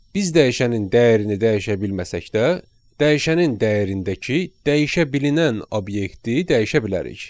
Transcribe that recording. Biz dəyişənin dəyərini dəyişə bilməsək də, dəyişənin dəyərindəki dəyişəbilinən obyekti dəyişə bilərik.